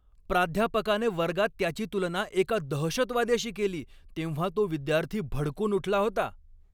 प्राध्यापकाने वर्गात त्याची तुलना एका दहशतवाद्याशी केली तेव्हा तो विद्यार्थी भडकून उठला होता.